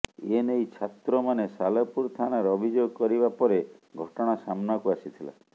ଏନେଇ ଛାତ୍ରମାନେ ସାଲେପୁର ଥାନାରେ ଅଭିଯୋଗ କରିବା ପରେ ଘଟଣା ସାମ୍ନାକୁ ଆସିଥିଲା